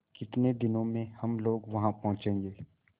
कितने दिनों में हम लोग वहाँ पहुँचेंगे